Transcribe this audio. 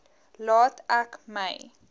laat ek my